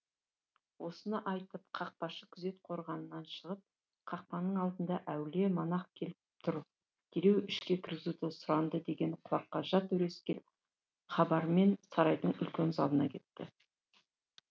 осыны айтып қақпашы күзет қорғанынан шығып қақпаның алдына әулие монах келіп тұр дереу ішке кіргізуді сұранды деген құлаққа жат өрескел хабармен сарайдың үлкен залына кетті